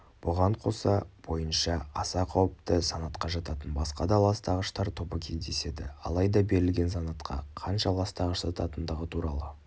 бұған қоса бойынша аса қауіпті санатқа жататын басқа да ластағыштар тобы кездеседі алайда берілген санатқа қанша ластағыш жататындығы туралы